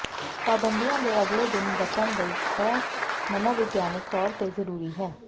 ਪਾਬੰਦੀਆਂ ਦੇ ਅਗਲੇ ਦਿਨ ਬਚਣ ਲਈ ਇਹ ਮਨੋਵਿਗਿਆਨਕ ਤੌਰ ਤੇ ਜ਼ਰੂਰੀ ਹੈ